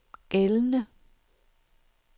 gældende